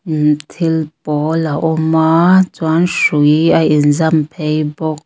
immh thil pawl a awm a chuan hrui a inzam phei bawk.